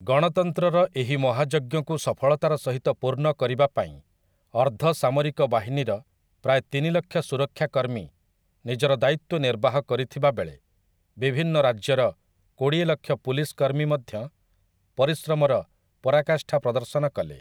ଗଣତନ୍ତ୍ରର ଏହି ମହାଯଜ୍ଞକୁ ସଫଳତାର ସହିତ ପୂର୍ଣ୍ଣ କରିବା ପାଇଁ ଅର୍ଦ୍ଧ ସାମରିକ ବାହିନୀର ପ୍ରାୟ ତିନି ଲକ୍ଷ ସୁରକ୍ଷାକର୍ମୀ ନିଜର ଦାୟିତ୍ୱ ନିର୍ବାହ କରିଥିବାବେଳେ ବିଭିନ୍ନ ରାଜ୍ୟର କୋଡ଼ିଏ ଲକ୍ଷ ପୁଲିସ୍‌ କର୍ମୀ ମଧ୍ୟ ପରିଶ୍ରମର ପରାକାଷ୍ଠା ପ୍ରଦର୍ଶନ କଲେ ।